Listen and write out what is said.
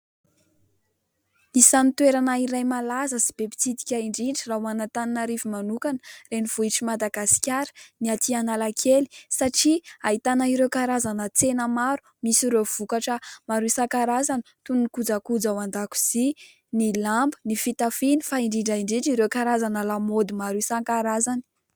Isan'ny toerana iray malaza sy be mpitsidika indrindra raha ho an'Antananarivo manokana, renivohitr'i Madagasikara, ny atỳ Analakely; satria ahitana ireo karazana tsena maro. Misy ireo vokatra maro isankarazany toy: ny kojakoja ao an-dakozia, ny lamba, ny fitafiana, fa indrindra indrindra ireo karazana lamaody maro isankarazany.